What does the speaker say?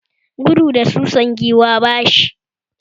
Gudu da susan Giwa bashi yi